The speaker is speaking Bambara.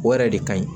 O yɛrɛ de ka ɲi